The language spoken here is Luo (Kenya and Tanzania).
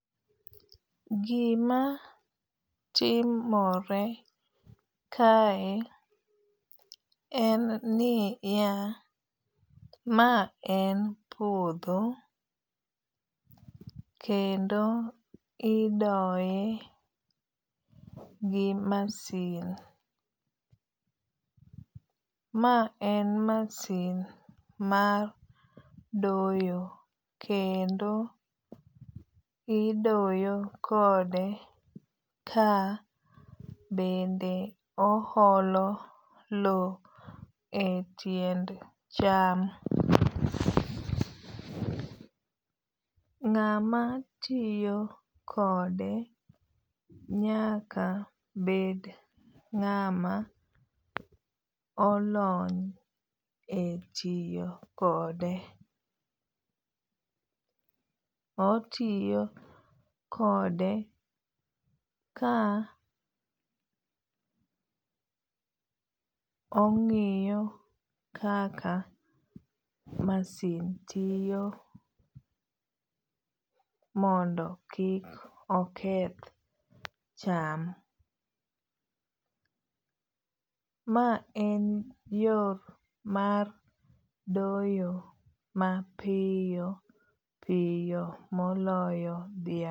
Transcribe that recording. Gima timore kae en ni ya. Ma en puodho. Kendo idoye gi masin. Ma en masin mar doyo kendo idoyo kode ka bende o olo lo e tiend cham. Ng'ama tiyo kode nyaka bed ng'ama olony e tiyo kode. Otiyo kode ka ong'iyo kaka masin tiyo mondo kik oketh cham. Ma en yo mar doyo mapiyo piyo moloyo dhiang'.